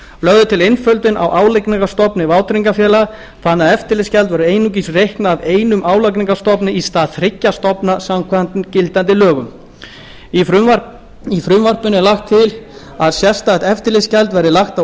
lögð er til einföldun á álagningarstofni vátryggingafélaga þannig að eftirlitsgjald verður einungis reiknað af einum álagningarstofni í stað þriggja stofna samkvæmt gildandi lögum í frumvarpinu er lagt til að sérstakt eftirlitsgjald verði lagt á